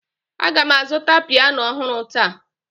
Aga m azụta piano ọhụrụ taa